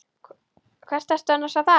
Hvert ertu annars að fara?